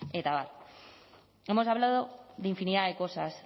eta abar hemos hablando de infinidad de cosas